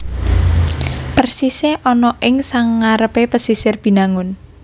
Persisé ana ing sangarepé pesisir Binangun